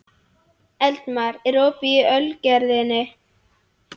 Eldmar, er opið í Ölgerðinni?